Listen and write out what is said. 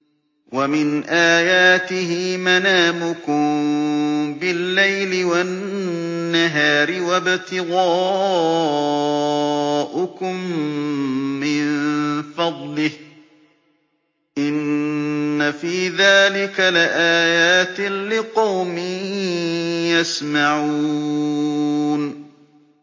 وَمِنْ آيَاتِهِ مَنَامُكُم بِاللَّيْلِ وَالنَّهَارِ وَابْتِغَاؤُكُم مِّن فَضْلِهِ ۚ إِنَّ فِي ذَٰلِكَ لَآيَاتٍ لِّقَوْمٍ يَسْمَعُونَ